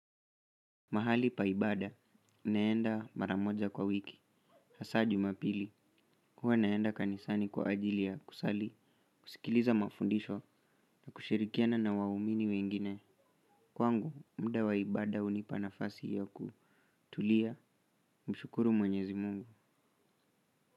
Mahali pa ibada, naenda mara moja kwa wiki, hasa Jumapili, huwa naenda kanisani kwa ajili ya kusali, kusikiliza mafundisho na kushirikiana na waumini wengine. Kwangu, muda wa ibada hunipa nafasi ya kutulia, kumshukuru mwenyezi Mungu.